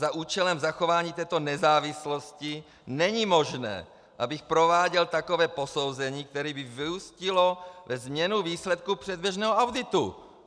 Za účelem zachování této nezávislosti není možné, abych prováděl takové posouzení, které by vyústilo ve změnu výsledku předběžného auditu.